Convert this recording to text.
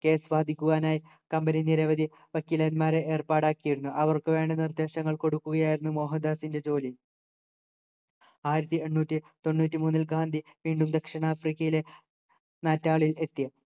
case വാദിക്കുവാനായി company നിരവധി വക്കീലന്മാരെ ഏർപ്പാടാക്കിയിരുന്നു അവർക്കുവേണ്ട നിർദേശങ്ങൾ കൊടുക്കുകയായിരുന്നു മോഹൻദാസിൻ്റെ ജോലി ആയിരത്തി എണ്ണൂറ്റി തൊണ്ണൂറ്റി മൂന്നിൽ ഗാന്ധി വീണ്ടും ദക്ഷിണാഫ്രിക്കയിലെ നാറ്റളിൽ